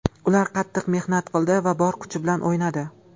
Ular qattiq mehnat qildi va bor kuch bilan o‘ynadi.